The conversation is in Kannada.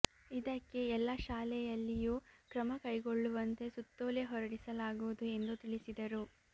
ಇದಕ್ಕೆ ಎಲ್ಲ ಶಾಲೆಯಲ್ಲಿಯೂ ಕ್ರಮ ಕೈಗೊಳ್ಳುವಂತೆ ಸುತ್ತೋಲೆ ಹೊರಡಿಸಲಾಗುವುದು ಎಂದು ತಿಳಿಸಿದರು